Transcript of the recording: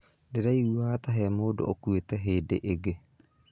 Ndĩraiguaga ta he mũndu ũkuĩte hĩndĩ ĩngĩ.